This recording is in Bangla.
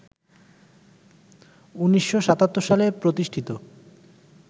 ১৯৭৭ সালে প্রতিষ্ঠিত